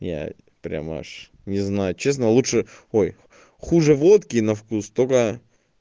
я прямо аж не знаю честно лучше ой хуже водки на вкус только